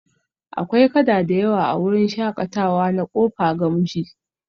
Akwai kada da yawa a wurin shakatawa na kofa gamji